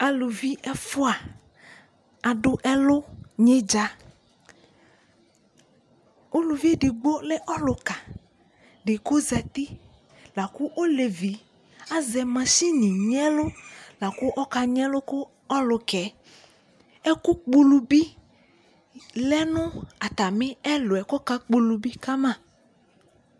aluvi ɛfua ado ɛlu nyi dza uluvi edigbo lɛ ɔluka di ko ozati lako olevi azɛ mashini nyi ɛlu lako ɔka nyi ɛlo ka ɔlokaɛ ɛku kpɔ ulu bi lɛ no atami ɛluɛ ko ɔka kpɔ ulu bi ka ma